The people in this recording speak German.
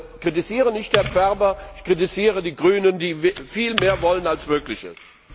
Ich kritisiere nicht Herrn Ferber, ich kritisiere die Grünen, die viel mehr wollen, als möglich ist.